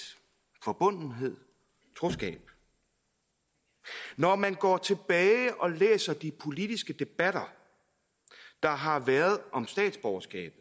forbundethed troskab når man går tilbage og læser de politiske debatter der har været om statsborgerskab